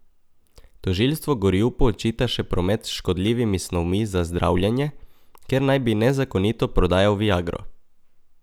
Tožilstvo Gorjupu očita še promet s škodljivimi snovmi za zdravljenje, ker naj bi nezakonito prodajal viagro.